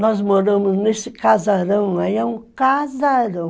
Nós moramos nesse casarão aí, é um casarão.